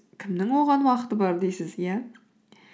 кімнің оған уақыты бар дейсіз иә